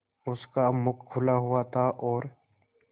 उसका मुख खुला हुआ था और